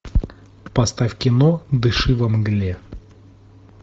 поставь кино дыши во мгле